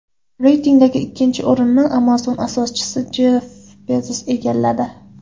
Reytingdagi ikkinchi o‘rinni Amazon asoschisi Jeff Bezos egalladi.